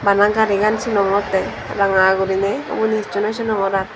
bana garigan sinongotte ranga gurinei ubunj hisshu no sinogor aar.